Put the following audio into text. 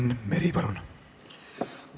Enn Meri, palun!